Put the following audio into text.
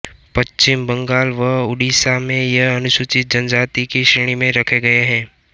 पश्चिम बंगाल व उड़ीसा में ये अनुसूचित जनजाति की श्रेणी में रखे गये हैं